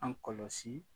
An kɔlɔsi